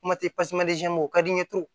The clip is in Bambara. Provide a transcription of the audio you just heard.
Kuma tɛ o ka di n ye